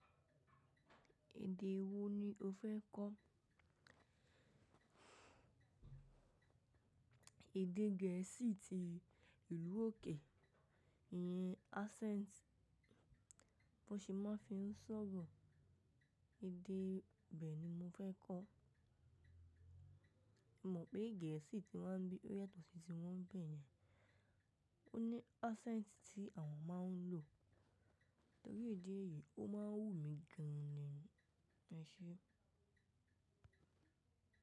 Èdè wo ni o fẹ́ kọ́? Èdè gẹ̀ẹ́sì ti ìlú òkè, ìyẹn accent bọ́ ṣe ma fi ń sọ̀rọ̀, èdè ibẹ ni mo fẹ́ kọ́. Mo mọ̀ pé gẹ̀ẹ́sì tí wọ́n bí, o yàtọ̀ sí tíwọ́n nbẹ̀ yẹn, ó ní accent tí àwọn máa ń lò. Torí idí èyìí ó máa ń wù mí gan ni, ẹ ṣẹ́.